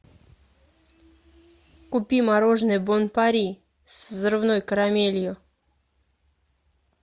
купи мороженое бон пари с взрывной карамелью